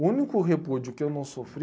O único repúdio que eu não sofri...